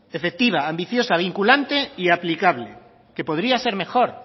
efectiva ambiciosa vinculante y aplicable que podría ser mejor